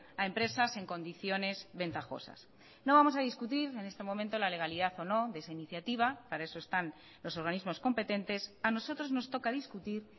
a empresas en condiciones ventajosas no vamos a discutir en este momento la legalidad o no de esa iniciativa para eso están los organismos competentes a nosotros nos toca discutir